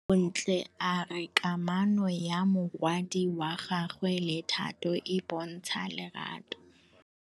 Bontle a re kamanô ya morwadi wa gagwe le Thato e bontsha lerato.